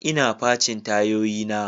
Ina facin tayoyina.